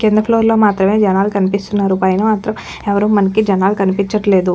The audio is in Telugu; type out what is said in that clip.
కింద ఫ్లోర్ లో మాత్రమే జనాలు కనిపిస్తున్నారు పైన మాత్రం ఎవ్వరూ మనకి జనాలు కనిపించట్లేదు.